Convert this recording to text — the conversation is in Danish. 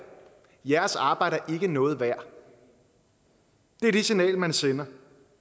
jeres arbejde er ikke noget værd det er det signal man sender